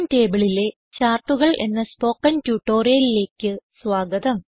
GChemTableലെ ചാർട്ടുകൾ എന്ന സ്പോകെൻ ട്യൂട്ടോറിയലിലേക്ക് സ്വാഗതം